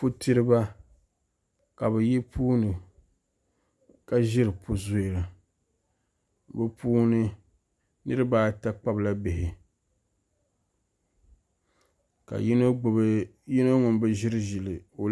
Putiriba ka bi yi puuni ka ʒiri pu zuri na bi puuni niraba ata kpabila bihi ka yino ŋun bi ʒiri ʒili